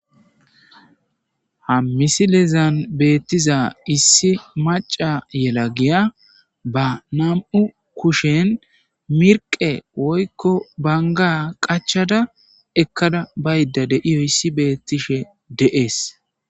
Ha misilezan beettiza issi maca yela giya ba nam7u kushen mirqe woykko banga qachada ekkada bayda deiyo issi beettishe de7ees